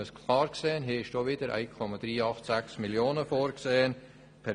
Man muss klar sehen, dass hierfür 1,386 Mio. Franken vorgesehen sind.